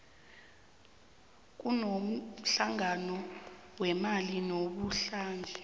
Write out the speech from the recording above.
kunomhlangano wemali namuhlanje